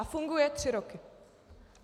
A funguje tři roky.